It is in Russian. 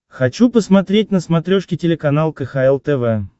хочу посмотреть на смотрешке телеканал кхл тв